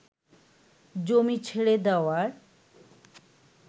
জমি ছেড়ে দেওয়ার